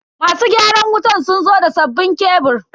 Masu gyaran wutan sun zo da sabbinn kebur.